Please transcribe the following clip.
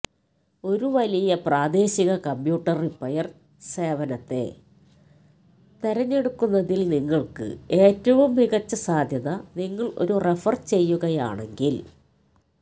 ഒരു വലിയ പ്രാദേശിക കമ്പ്യൂട്ടർ റിപ്പയർ സേവനത്തെ തിരഞ്ഞെടുക്കുന്നതിൽ നിങ്ങൾക്ക് ഏറ്റവും മികച്ച സാധ്യത നിങ്ങൾ ഒരു റഫർ ചെയ്യുകയാണെങ്കിൽ